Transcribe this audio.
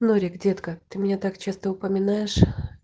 норик детка ты меня так часто упоминаешь